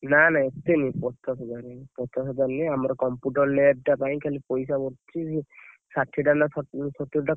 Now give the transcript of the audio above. ନା ନା ଏତେ ନୁହ! ପଚାଶ ହଜାର ନେବେ ଆମର computer lab ଟା ପାଇଁ ଖାଲି ପଇସା, ପଡୁଛି ଷାଠିଏ ଟା ନା ସତୁରୀ ଟା।